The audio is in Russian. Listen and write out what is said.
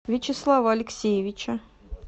вячеслава алексеевича